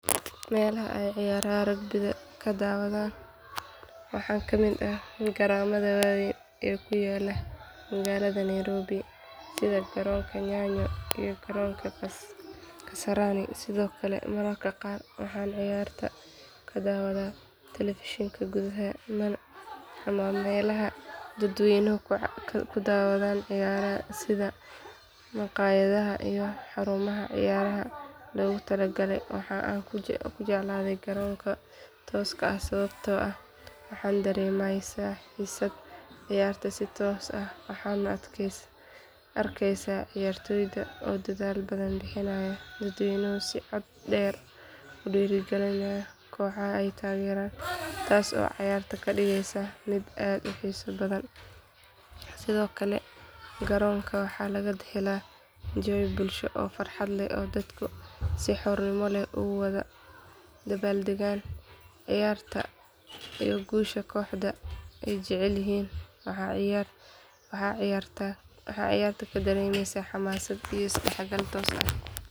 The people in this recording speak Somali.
Meelaha aan ciyaaraha rugby-da ka daawaday waxaa ka mid ah garoomada waaweyn ee ku yaalla magaalada nairobi sida garoonka nyayo iyo garoonka kasarani sidoo kale mararka qaar waxaan ciyaarta ka daawadaa taleefishinka gudaha ama meelaha dadweynuhu ku daawado ciyaaraha sida maqaayadaha iyo xarumaha ciyaaraha loogu talagalay waxa aan ugu jecelahay garoonka tooska ah sababtoo ah waxaa dareemaysaa xiisadda ciyaarta si toos ah waxaadna arkeysaa ciyaartoyda oo dadaal badan bixinaya dadweynuhuna si cod dheer u dhiirrigelinaya kooxaha ay taageeraan taas oo ciyaarta ka dhigaysa mid aad u xiiso badan sidoo kale garoonka waxaa laga helaa jawi bulsho oo farxad leh oo dadku si xurmo leh ugu wada dabaaldegaan ciyaarta iyo guusha kooxda ay jecel yihiin waxaana ciyaarta ka dareemeysaa xamaasad iyo isdhexgal toos ah.